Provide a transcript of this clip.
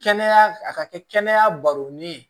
Kɛnɛya a ka kɛ kɛnɛya baronin ye